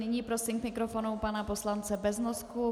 Nyní prosím k mikrofonu pana poslanec Beznosku.